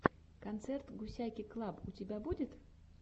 концерт гусяки клаб у тебя будет